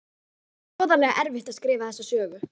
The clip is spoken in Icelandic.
Það var hroðalega erfitt að skrifa þessa sögu.